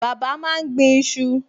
Bàbá máa ń gbin iṣu